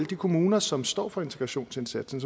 de kommuner som står for integrationsindsatsen